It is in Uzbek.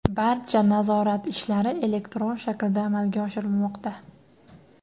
Barcha nazorat ishlari elektron shaklda amalga oshirilmoqda.